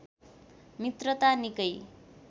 मित्रता निकै